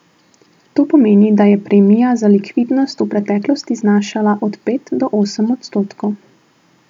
To pomeni, da je premija za likvidnost v preteklosti znašala od pet do osem odstotkov.